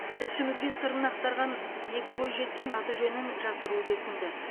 тілшімізге сырын ақтарған екі бойжеткен аты жөнін жасыруды өтінді